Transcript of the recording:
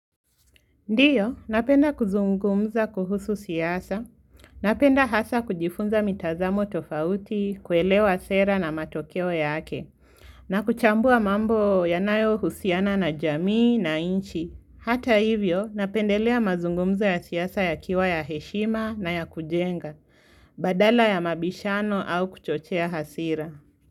Ndio, napenda kuzungumza kuhusu siasa. Napenda hasa kujifunza mitazamo tofauti, kuelewa sera na matokeo yake. Na kuchambua mambo yanayo husiana na jamii na nchi. Hata hivyo, napendelea mazungumzo ya siasa yakiwa ya heshima na ya kujenga. Badala ya mabishano au kuchochea hasira.